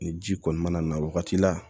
Ni ji kɔni mana na wagati la